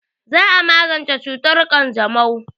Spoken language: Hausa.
Za a magance cutar ƙanjamau.